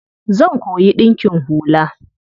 Zan koyi ɗinkin hula.